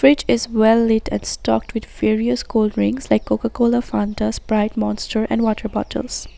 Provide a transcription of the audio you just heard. It is well lit and stocked with various cold drinks like coca cola fanta sprite monster and water bottles.